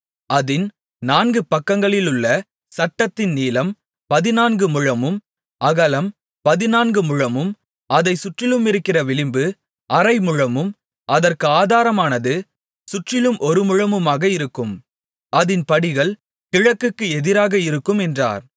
அதின் நான்கு பக்கங்களிலுள்ள சட்டத்தின் நீளம் பதினான்கு முழமும் அகலம் பதினான்கு முழமும் அதைச் சுற்றிலுமிருக்கிற விளிம்பு அரை முழமும் அதற்கு ஆதாரமானது சுற்றிலும் ஒரு முழமுமாக இருக்கும் அதின் படிகள் கிழக்குக்கு எதிராக இருக்கும் என்றார்